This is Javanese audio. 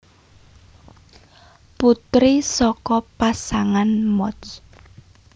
Putri saka pasangan Moch